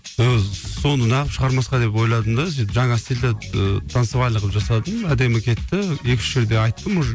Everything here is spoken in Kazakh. соны нағып шығармасқа деп ойладым да сөйтіп жаңа стилде ыыы танцевальный қылып жасадым әдемі кетті екі үш жерде айттым уже